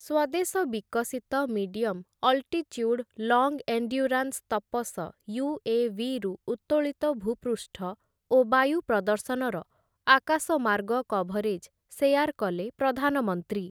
ସ୍ୱଦେଶ ବିକଶିତ medium altitude long endurance Tapas ୟୁ.ଏ.ଭି.ରୁ ଉତ୍ତୋଳିତ ଭୂପୃଷ୍ଠ ଓ ବାୟୁ ପ୍ରଦର୍ଶନର ଆକାଶମାର୍ଗ କଭରେଜ୍‌ ଶେୟାର କଲେ ପ୍ରଧାନମନ୍ତ୍ରୀ ।